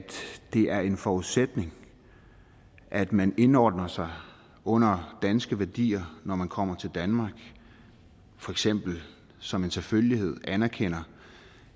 det er en forudsætning at man indordner sig under danske værdier når man kommer til danmark for eksempel som en selvfølgelighed anerkender